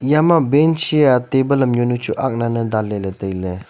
eyama bench hia table am yawnu chu ak laley danley ley tailey.